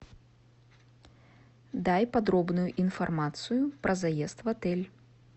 дай подробную информацию про заезд в отель